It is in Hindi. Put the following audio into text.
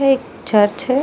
पे एक चर्च है।